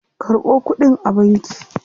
Karɓo kuɗin a banki.